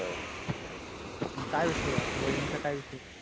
मग काय विषयी? आमच्या वाहिनी चा काही विषय